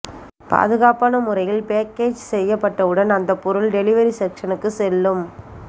பாதுகாப்பான முறையில் பேக்கேஜ் செய்யப்பட்டவுடன் அந்தப் பொருள் டெலிவரி செக்சனுக்குச் செல்லும்